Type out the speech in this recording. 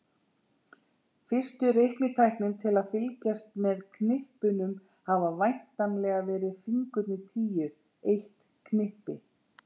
Fyrstu reiknitækin til að fylgjast með knippunum hafa væntanlega verið fingurnir tíu, eitt knippi.